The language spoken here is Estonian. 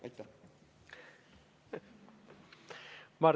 " Aitäh!